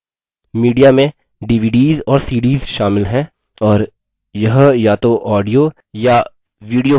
media में dvds और cds शामिल हैं और यह या तो audio या video हो सकते हैं